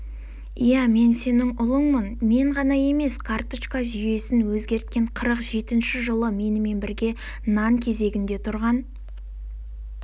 иә мен сенің ұлыңмын мен ғана емес карточка жүйесін өзгерткен қырық жетінші жылы менімен бірге нан кезегінде тұрған